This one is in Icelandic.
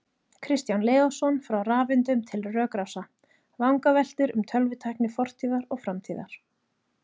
Kristján Leósson, Frá rafeindum til rökrása: Vangaveltur um tölvutækni fortíðar og framtíðar